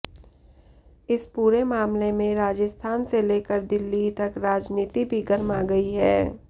इस पूरे मामले में राजस्थान से लेकर दिल्ली तक राजनीति भी गरमा गई है